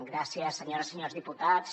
gràcies senyores i senyors diputats